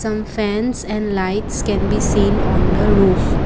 some fans and lights can be seen on the roof.